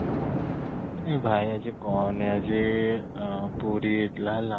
ଏ ଭାଇ ଆଜି କହନି ଆଜି ଅଂ ପୁରୀ ହେଇ ଥିଲା ହେଲା